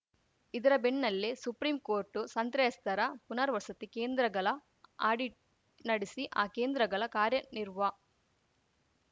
ಇದರ ಬೆನ್ನಲ್ಲೇ supreme court ಸಂತ್ರಸ್ತೆಯರ ಪುನರ್ವಸತಿ ಕೇಂದ್ರಗಲ ಆಡಿಟ್‌ ನಡೆಸಿ ಆ ಕೇಂದ್ರಗಲ ಕಾರ್ಯ ನಿರ್ವ